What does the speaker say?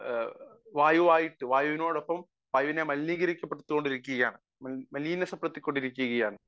Speaker 1 വായുവായിട്ടു വായുവിനോടൊപ്പം വായുവിനെ മലിനീകരിക്കപ്പെട്ടു കൊണ്ടിരിക്കുകയാണ്. മലീമസപ്പെടുത്തി കൊണ്ടിരിക്കുകയാണ്